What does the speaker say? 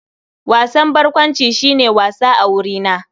Wasan barkwanci shi ne wasa a wurina.